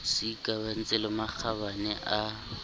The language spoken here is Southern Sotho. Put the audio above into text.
se ikamahantseng le makgabane a